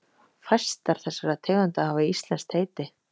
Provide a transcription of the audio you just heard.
Fæstar þessara tegunda hafa íslenskt heiti.